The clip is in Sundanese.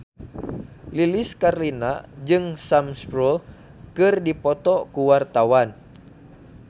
Lilis Karlina jeung Sam Spruell keur dipoto ku wartawan